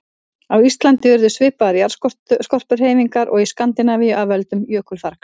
Á Íslandi urðu svipaðar jarðskorpuhreyfingar og í Skandinavíu af völdum jökulfargs.